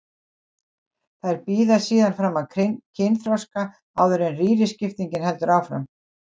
Þær bíða síðan fram að kynþroska áður en rýriskiptingin heldur áfram.